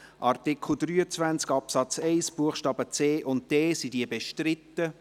Wer diesen so ins Gesetz schreiben will, stimmt Ja, wer das nicht will, stimmt Nein.